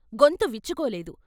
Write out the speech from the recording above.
గొంతు విచ్చుకోలేదు.